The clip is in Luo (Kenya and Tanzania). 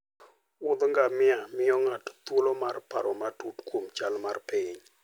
Wuoth ngamia miyo ng'ato thuolo mar paro matut kuom chal mar piny.